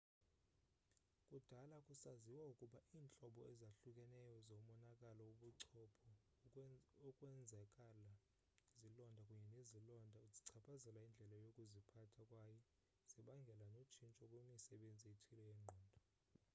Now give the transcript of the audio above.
kudala kusaziwa ukuba iintlobo ezahlukeneyo zomonakalo wobuchopho ukwenzakala izilonda kunye nezilonda zichaphazela indlela yokuziphatha kwaye zibangele notshintsho kwimisebenzi ethile yengqondo